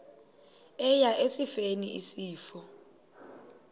eya esifeni isifo